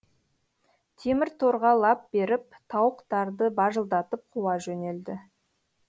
темір торға лап беріп тауықтарды бажылдатып қуа жөнелді